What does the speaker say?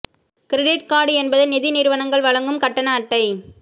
credit card என்பது நிதி நிறுவனங்கள் வழங்கும் கட்டண அட்டை